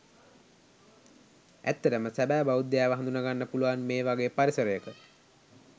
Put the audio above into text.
ඇත්තටම සැබෑ බෞද්ධයාව හඳුනගන්න පුලුවන් මේ වගේ පරිසරයක.